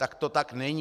Tak to tak není.